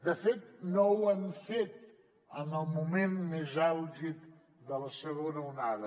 de fet no ho hem fet en el moment més àlgid de la segona onada